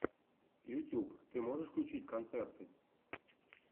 ютюб ты можешь включить концерты